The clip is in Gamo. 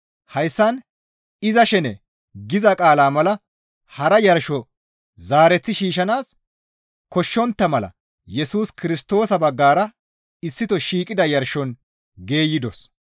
Hayssan, «Iza shene» giza qaalaa mala hara yarsho zaareth shiishshanaas koshshontta mala Yesus Kirstoosa baggara issito shiiqida yarshon geeyidos.